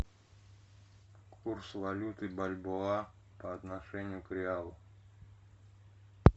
курс валюты бальбоа по отношению к реалу